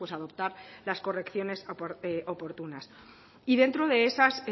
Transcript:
adoptar las correcciones oportunas y dentro de esas